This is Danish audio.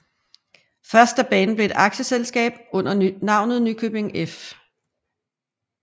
Først da banen blev et aktieselskab under navnet Nykøbing F